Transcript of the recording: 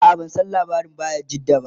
a'a ban San labarin bayajidda ba